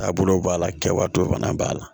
Taabolow b'a la kɛwalenw fana b'a la